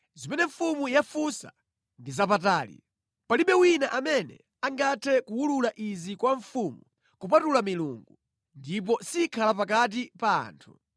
Zimene mfumu yafunsa ndi zapatali. Palibe wina amene angathe kuwulula izi kwa mfumu kupatula milungu, ndipo sikhala pakati pa anthu.”